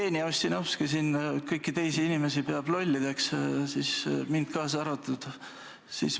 Jevgeni Ossinovski peab siin kõiki teisi inimesi lollideks, mina kaasa arvatud.